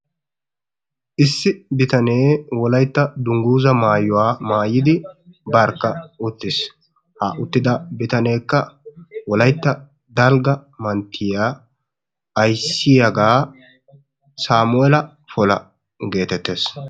Isso bitanee wolaytta dungguzaa maayuwa maayidi barkka uttiis. Ha uttida bitaneekka wolaytta dalgga manttiya ayssiyagaa Saamuu'eela Pola geetettees.